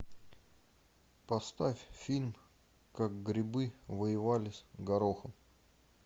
поставь фильм как грибы воевали с горохом